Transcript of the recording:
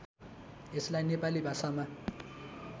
यसलाई नेपाली भाषामा